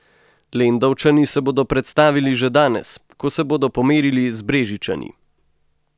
Lendavčani se bodo predstavili že danes, ko se bodo pomerili z Brežičani.